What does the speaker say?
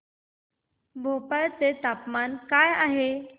भोपाळ चे तापमान काय आहे